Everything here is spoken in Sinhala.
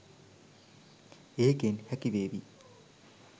ඒකෙන් හැකිවේවි